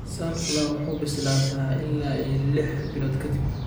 "Sunflower wuxuu bislaa sadah ila iyo lih bilood ka dib.